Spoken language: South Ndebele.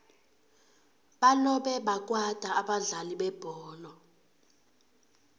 balobe bakwata abadlali bebholo